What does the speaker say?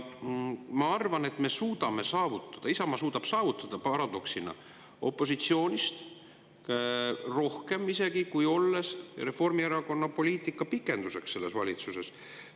Ma arvan, et me suudame, Isamaa suudab saavutada paradoksaalsel opositsioonis isegi rohkem, kui olles Reformierakonna poliitika pikenduseks selles valitsuses.